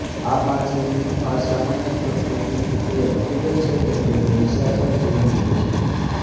આ માછલીની અસામાન્ય પ્રકૃતિ એ હકીકત છે કે તેઓ નિશાચર જીવન જીવે છે